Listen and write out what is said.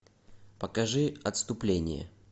покажи отступление